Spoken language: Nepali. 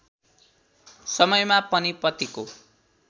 समयमा पनि पतिको